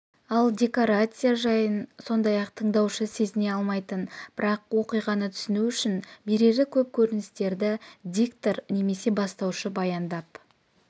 ал декорация жайын сондай-ақ тыңдаушы сезіне алмайтын бірақ оқиғаны түсіну үшін берері көп көріністерді диктор немесе бастаушы баяндап